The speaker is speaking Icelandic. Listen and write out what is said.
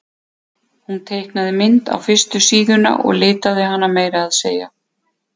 Hún teiknaði mynd á fyrstu síðuna og litaði hana meira að segja.